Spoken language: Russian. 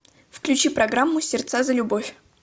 включи программу сердца за любовь